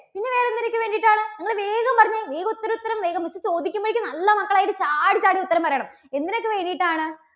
പിന്നെ വേറെ എന്തിനൊക്കെ വേണ്ടിയിട്ടാണ്? നിങ്ങള് വേഗം പറഞ്ഞേ. വേഗം ഉത്തരം ഉത്തരം വേഗം miss ചോദിക്കുമ്പോഴേക്കും നല്ല മക്കൾ ആയിട്ട് ചാടി ചാടി ഉത്തരം പറയണം എന്തിനൊക്കെ വേണ്ടിയിട്ടാണ്